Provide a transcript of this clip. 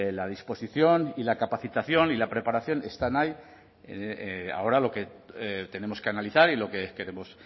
la disposición y la capacitación y la preparación están ahí ahora lo que tenemos que analizar y lo que queremos